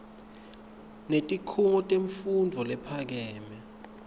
netikhungo temfundvo lephakeme